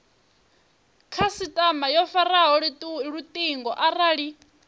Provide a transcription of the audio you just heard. khasitama yo faraho lutingo arali